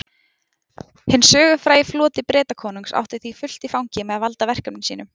Hinn sögufrægi floti Bretakonungs átti því fullt í fangi með að valda verkefnum sínum.